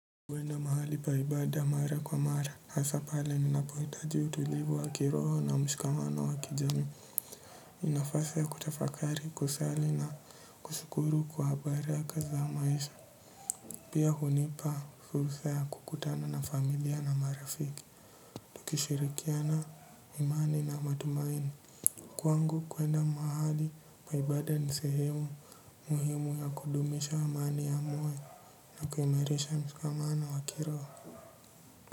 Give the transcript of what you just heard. Kwenda mahali pa ibada mara kwa mara hasa pale ninapohitaji utulivu wa kiroho na mshikamano wa kijamii ni nafasi ya kutafakari kusali na kushukuru kwa baraka za maisha. Pia hunipa furua ya kukutana na familia na marafiki. Tukishirikiana imani na matumaini. Kwangu kwenda mahali pa ibada ni sehemu muhimu ya kudumisha amani yangu na kuimarisha mshikamano wa kiroho.